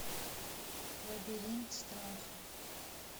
лабиринт страха